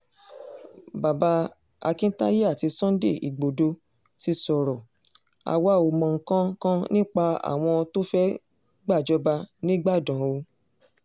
bàbá akintaye àti sunday igbodò ti sọ̀rọ̀ àwa ò mọ nǹkan kan nípa àwọn tó fẹ́ẹ́ gbàjọba nígbàdàn o